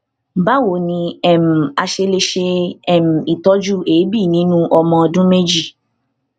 báwo ni um a ṣe lè ṣe um itọju eebi ninu ọmọ ọdún méjì